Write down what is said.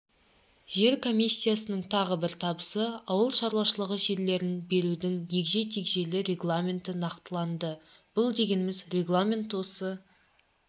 жер комиссиясының тағы бір табысы ауыл шаруашылығы жерлерін берудің егжей-тегжейлі регламенті нақтыланды бұл дегеніңіз регламент осы